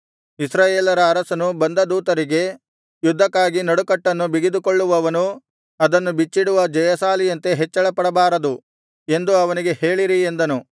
ಇಸ್ರಾಯೇಲರ ಅರಸನು ಬಂದ ದೂತರಿಗೆ ಯುದ್ಧಕ್ಕಾಗಿ ನಡುಕಟ್ಟನ್ನು ಬಿಗಿದುಕೊಳ್ಳುವವನು ಅದನ್ನು ಬಿಚ್ಚಿಡುವ ಜಯಶಾಲಿಯಂತೆ ಹೆಚ್ಚಳಪಡಬಾರದು ಎಂದು ಅವನಿಗೆ ಹೇಳಿರಿ ಎಂದನು